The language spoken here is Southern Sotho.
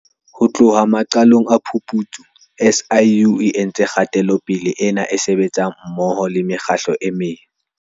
Ho tloha maqalong a phuputso, SIU e entse kgatelopele ena e sebetsa mmoho le mekgatlo e meng.